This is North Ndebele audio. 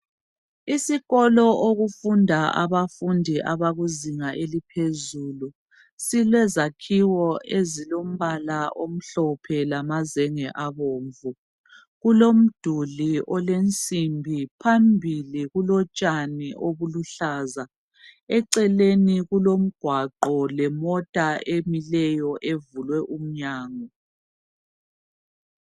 Isikolo okufunda abafundi abakuzinga eliphezulu , silezakhiwo ezilombala omhlophe lamazenge abomvu , kulomduli olensimbi , phambili kulotshani obuluhlaza , eceleni kulomgwaqo lemota emileyo evulwe umnyango